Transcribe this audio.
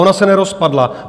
Ona se nerozpadla.